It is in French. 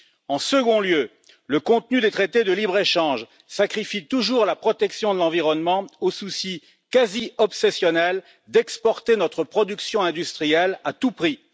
En second lieu, le contenu des traités de libre échange sacrifie toujours la protection de l'environnement au souci quasi obsessionnel d'exporter notre production industrielle à tout prix.